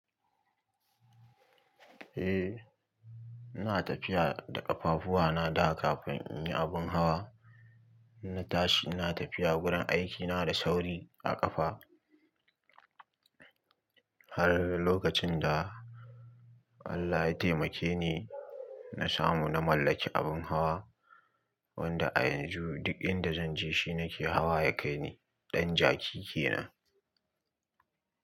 Eh, na tafiya da ƙafafuwa na da kafin in yi abun hawa. Na tashi, na tafiya gurin aikina da sauri a ƙafa har lokacin da Allah ya taimake ni na samu na mallaki abun hawa wanda a yanzu duk inda zanje shine nake hawa ya kai ni. Ɗan jaki ke nan.